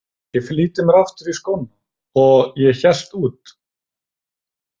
Ég flýtti mér aftur í skóna og hélt út.